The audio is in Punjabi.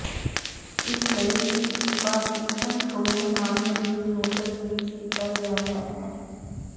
ਇਸ ਲਈ ਹੀ ਇਸ ਪਾਰਕਿੰਸਨ ਰੋਗ ਨਾਲ ਮਰੀਜ਼ ਨੂੰ ਤਜਵੀਜ਼ ਕੀਤਾ ਗਿਆ ਹੈ ਹੈ